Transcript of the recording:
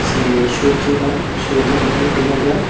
যে সূর্যটা সূর্যটাও দেখা যায়।